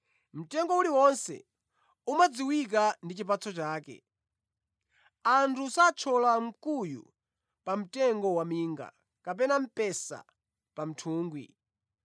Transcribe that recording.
Mtengo uliwonse umadziwika ndi chipatso chake. Anthu sathyola nkhuyu pa mtengo waminga, kapena mphesa pa nthungwi.